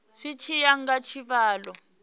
zwi tshi ya nga tshivhalo